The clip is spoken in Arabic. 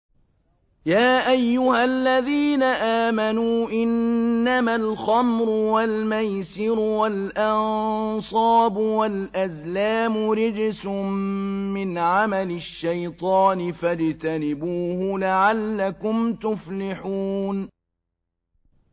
يَا أَيُّهَا الَّذِينَ آمَنُوا إِنَّمَا الْخَمْرُ وَالْمَيْسِرُ وَالْأَنصَابُ وَالْأَزْلَامُ رِجْسٌ مِّنْ عَمَلِ الشَّيْطَانِ فَاجْتَنِبُوهُ لَعَلَّكُمْ تُفْلِحُونَ